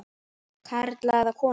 Karla eða konur.